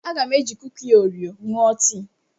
Aga m eji kuki Orio ṅụọ tii.